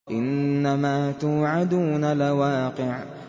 إِنَّمَا تُوعَدُونَ لَوَاقِعٌ